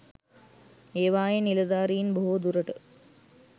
ඒවායේ නිලධාරින් බොහෝ දුරට